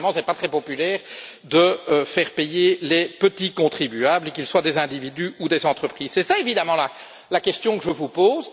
Parce qu'évidemment, ce n'est pas très populaire de faire payer les petits contribuables, qu'ils soient des individus ou des entreprises. C'est cela, évidemment, la question que je vous pose.